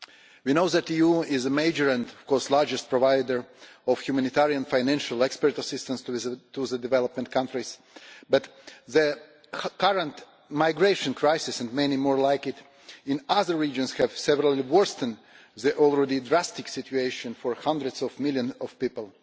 We know that the EU is a major and of course the largest provider of humanitarian financial expert assistance to the developing countries, but the current migration crisis, and many more like it in other regions, have severely worsened the already drastic situation for hundreds of millions of people.